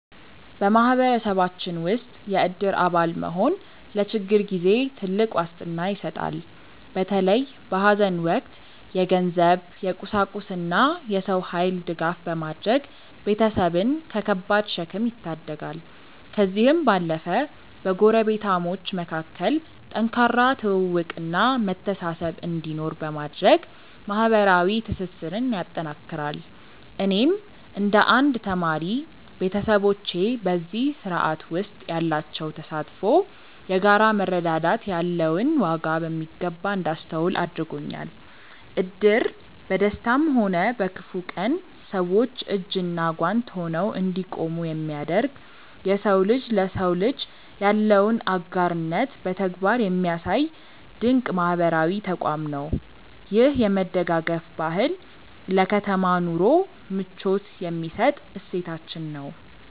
በማህበረሰባችን ውስጥ የእድር አባል መሆን ለችግር ጊዜ ትልቅ ዋስትና ይሰጣል። በተለይ በሐዘን ወቅት የገንዘብ፣ የቁሳቁስና የሰው ኃይል ድጋፍ በማድረግ ቤተሰብን ከከባድ ሸክም ይታደጋል። ከዚህም ባለፈ በጎረቤታሞች መካከል ጠንካራ ትውውቅና መተሳሰብ እንዲኖር በማድረግ ማህበራዊ ትስስርን ያጠናክራል። እኔም እንደ አንድ ተማሪ፣ ቤተሰቦቼ በዚህ ስርዓት ውስጥ ያላቸው ተሳትፎ የጋራ መረዳዳት ያለውን ዋጋ በሚገባ እንዳስተውል አድርጎኛል። እድር በደስታም ሆነ በክፉ ቀን ሰዎች እጅና ጓንት ሆነው እንዲቆሙ የሚያደርግ፣ የሰው ልጅ ለሰው ልጅ ያለውን አጋርነት በተግባር የሚያሳይ ድንቅ ማህበራዊ ተቋም ነው። ይህ የመደጋገፍ ባህል ለከተማ ኑሮ ምቾት የሚሰጥ እሴታችን ነው።